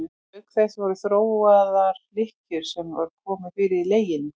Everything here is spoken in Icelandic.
Auk þess voru þróaðar lykkjur sem var komið fyrir í leginu.